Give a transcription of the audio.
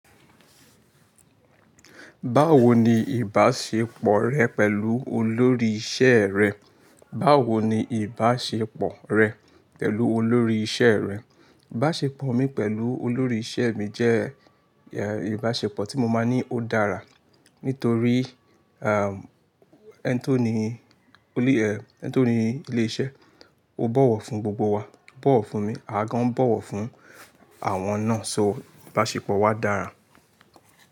Báwo ni ìbáṣepọ̀ rẹ pẹ̀lú olórí iṣẹ́ rẹ? Báwo ni ìbáṣepọ̀ rẹ pẹ̀lú olórí iṣẹ́ rẹ? Ìbáṣepọ̀ mi pẹ̀lú olórí iṣẹ́ mi jẹ́, eh, ìbáṣepọ̀ tí mo máa ní ó dára. Nítorí, um, ẹ́ń tó ní olú, eh, ẹ́ń tó ní ilé iṣẹ́, ó bọ̀wọ̀ fún gbogbo wa, ó bọ̀wọ̀ fún mi, àwÁ gán bọ̀wọ̀ fún àwọn náà. So ìbáṣepọ̀ wa dára.